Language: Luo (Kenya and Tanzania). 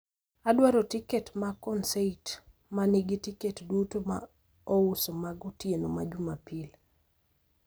Adwaro tiket ma konsait ma nigi tiket duto ma ouso mag otieno ma jumapil